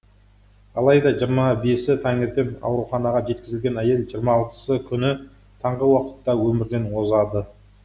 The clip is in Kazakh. алайда жиырма бесі таңертең ауруханаға жеткізілген әйел жиырма алтысы күні таңғы уақытта өмірден озады